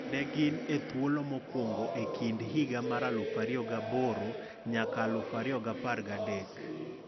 Ne gin e thuolo mokwongo e kind higa mar 2008 nyaka 2013